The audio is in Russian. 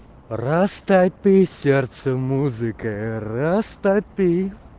растопи сердце музыка растопи